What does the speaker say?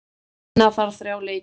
Vinna þarf þrjá leiki.